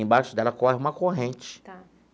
Embaixo dela corre uma corrente. Tá.